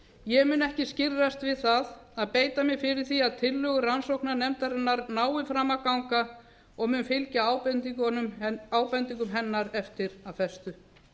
ég mun ekki skirrast við að beita mér fyrir því að tillögur rannsóknarnefndarinnar nái fram að ganga og mun fylgja ábendingum hennar eftir af festu